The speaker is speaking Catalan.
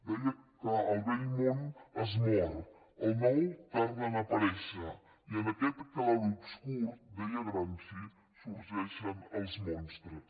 deia que el vell món es mor el nou tarda a aparèixer i en aquest clarobscur deia gramsci sorgeixen els monstres